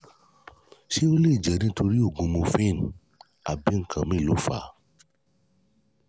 ṣé ó lè jẹ́ nítorí oògùn morphine ni àbí nǹkan míì ló fà á?